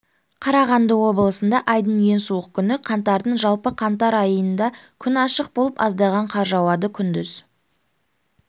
қарағанды облысында айдың ең суық күні қаңтардың жалпы қаңтар айында күн ашық болып аздаған қар жауады күндіз